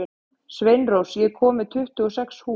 Sveinrós, ég kom með tuttugu og sex húfur!